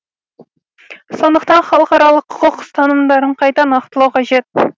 сондықтан халықаралық құқық ұстанымдарын қайта нақтылау қажет